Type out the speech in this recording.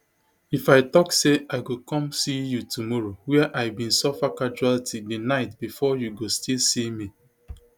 if i tok say i go come see you tomorrow wia i bin suffer casualty di night bifor you go still see me